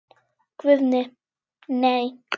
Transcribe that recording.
Guðni:. nei.